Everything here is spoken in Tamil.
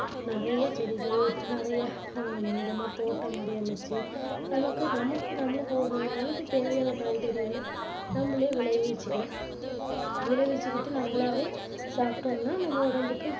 நிறைய செடிகள், நிறைய அஹ் இந்த மாதிரி தோட்டம் மாதிரி அமைச்சு, நமக்கு நமக்கு நம்மளுக்கு ஓரு ஒரு நாளைக்கு தேவையான காய்கறிகளை நம்மளே விளைவிச்சிக்கலாம், விளைவிச்சிக்கிட்டு நம்மளாவே சாப்பிட்டோம்னா, நம்ப உடம்புக்கு